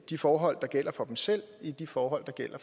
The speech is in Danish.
de forhold der gælder for dem selv i de forhold der gælder